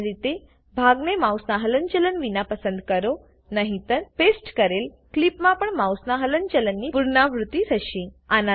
સામાન્ય રીતે ભાગને માઉસનાં હલનચલન વિના પસંદ કરો નહીતર પેસ્ટ કરેલ ક્લીપમાં પણ માઉસનાં હલનચલનની પુનરાવૃત્તિ થશે